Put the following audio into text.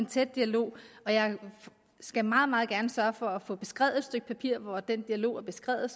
tæt dialog og jeg skal meget meget gerne sørge for at få skrevet et stykke papir hvor den dialog er beskrevet